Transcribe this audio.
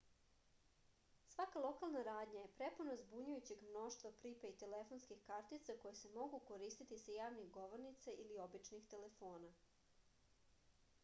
svaka lokalna radnja je prepuna zbunjujućeg mnoštva pripejd telefonskih kartica koje se mogu koristiti sa javnih govornica ili običnih telefona